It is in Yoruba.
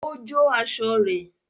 Ó jó aṣọ rẹ̀